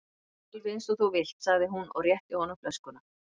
Alveg eins og þú vilt sagði hún og rétti honum flöskuna.